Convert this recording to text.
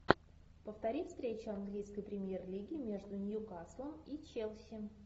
повтори встречу английской премьер лиги между ньюкаслом и челси